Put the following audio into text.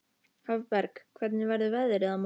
Hafberg, hvernig verður veðrið á morgun?